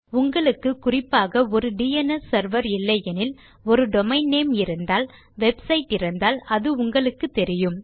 உங்களுக்கு குறிப்பாக ஒர் டிஎன்எஸ் செர்வர் இல்லையெனில் ஒரு டொமெயின் நேம் இருந்தால் வெப்சைட் இருந்தால் அது உங்களுக்குத் தெரியும்